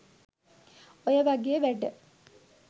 ඔය වගේ වැඩ